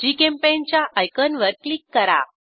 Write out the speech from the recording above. GChemPaint च्या आयकनवर click करा